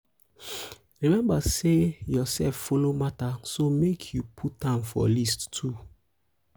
remmba sey urself follow mata so mek yu put am for list too